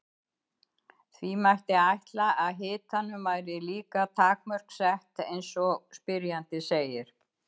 Því mætti ætla að hitanum væri líka takmörk sett eins og spyrjandi segir.